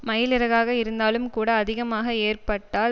மயில் இறகாக இருந்தாலும்கூட அதிகமாக ஏற்றப்பட்டால்